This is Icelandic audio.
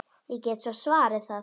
Ég get svo svarið það.